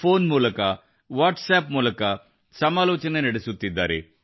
phone ಮೂಲಕ WhatsApp ಮೂಲಕ ಸಮಾಲೋಚನೆ ನಡೆಸುತ್ತಿದ್ದಾರೆ